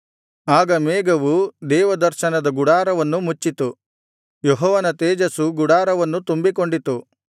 ಆಗ ಮೇಘವು ದೇವದರ್ಶನದ ಗುಡಾರವನ್ನು ಮುಚ್ಚಿತು ಯೆಹೋವನ ತೇಜಸ್ಸು ಗುಡಾರವನ್ನು ತುಂಬಿಕೊಂಡಿತು